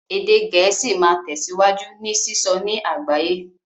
Èdè Gẹ̀ẹ́sì máa tẹ̀síwájú ní sísọ ní àgbáyé